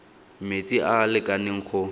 metsi a a lekaneng go